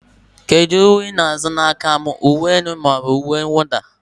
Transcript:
kedu ihe ị na-azụ n'aka m, uwe elu ka ọ bụ uwe mwụda?